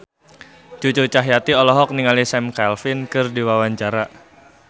Cucu Cahyati olohok ningali Sam Claflin keur diwawancara